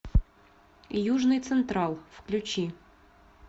южный централ включи